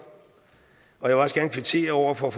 og jeg vil også gerne kvittere over for